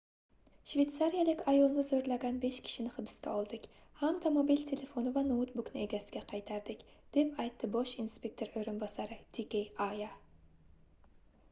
shveytsariyalik ayolni zoʻrlagan besh kishini hibsga oldik hamda mobil telefoni va noutbukni egasiga qaytardik deb aytdi bosh inspektor oʻrinbosari d k arya